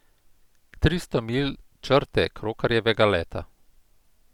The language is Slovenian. Tristo milj črte krokarjevega leta.